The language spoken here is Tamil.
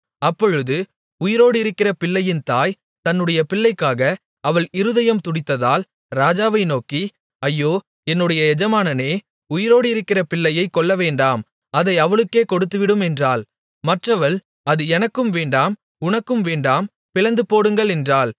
அப்பொழுது உயிரோடு இருக்கிற பிள்ளையின் தாய் தன்னுடைய பிள்ளைக்காக அவள் இருதயம் துடித்ததால் ராஜாவை நோக்கி ஐயோ என்னுடைய எஜமானனே உயிரோடு இருக்கிற பிள்ளையைக் கொல்லவேண்டாம் அதை அவளுக்கே கொடுத்துவிடும் என்றாள் மற்றவள் அது எனக்கும் வேண்டாம் உனக்கும் வேண்டாம் பிளந்து போடுங்கள் என்றாள்